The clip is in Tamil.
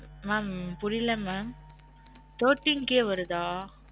mam புரில்ல mam thirteen K வருதா?